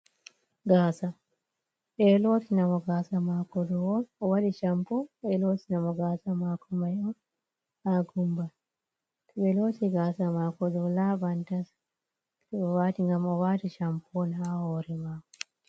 "Gasa"ɓeɗo lotinga mo gasa mako on o waɗi shampo ɓeɗo loti namo gaasa mako mai on ha gumbal to ɓe loti gaasa mako ɗo laɓan tas ngam o wati shampo ha hore mako.